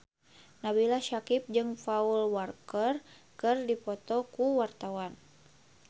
Nabila Syakieb jeung Paul Walker keur dipoto ku wartawan